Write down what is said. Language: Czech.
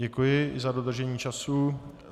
Děkuji za dodržení času.